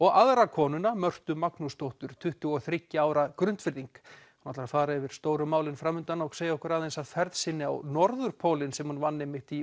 og aðra konuna Mörtu Magnúsdóttur tuttugu og þriggja ára hún ætlar að fara yfir stóru málin fram undan og segja okkur aðeins af ferð sinni á norðurpólinn sem hún vann einmitt í